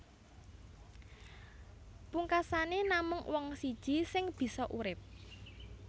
Pungkasané namung wong siji sing bisa urip